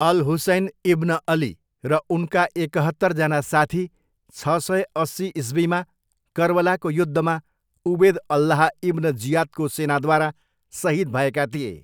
All Husayn ibn Ali र उनका एकहत्तरजना साथी छ सय अस्सी इस्वीमा कर्बलाको युद्धमा उबेद अल्लाह इब्न जियादको सेनाद्वारा सहिद भएका थिए।